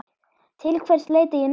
Til hvers leita ég núna?